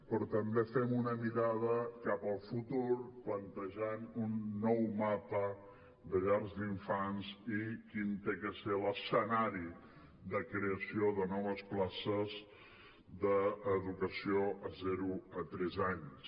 però també fem una mirada cap al futur plantejant un nou mapa de llars d’infants i quin ha de ser l’escenari de creació de noves places d’educació de zero a tres anys